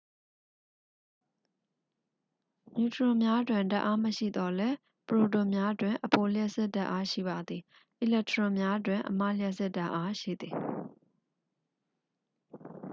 နျူထရွန်များတွင် ဓာတ်အားမရှိသော်လည်း ပရိုတွန်များတွင် အဖိုလျှပ်စစ်ဓာတ်အား ရှိပါသည် အီလက်ထရွန်များတွင် အမလျှပ်စစ်ဓာတ်အား ရှိသည်